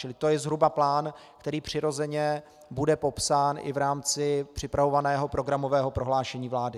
Čili to je zhruba plán, který přirozeně bude popsán i v rámci připravovaného programového prohlášení vlády.